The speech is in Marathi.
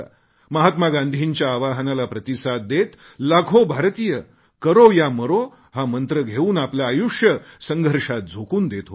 महात्मा गांधीच्या आवाहनाला प्रतिसाद देत लाखो भारतीय करो या मरो हा मंत्र घेऊन आपले आयुष्य संघर्षात झोकून देत होते